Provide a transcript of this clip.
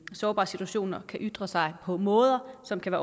sårbare situationer kan ytre sig på måder som kan